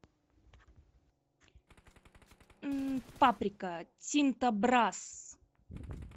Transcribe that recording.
паприка тинто брасс